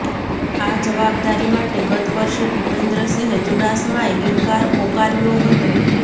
આ જવાબદારી માટે ગતવર્ષે ભુપેન્દ્રસિંહ ચુડાસમાએ ઈન્કાર ઔકર્યો હતો